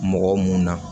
Mɔgɔ mun na